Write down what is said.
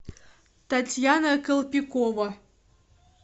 татьяна калпикова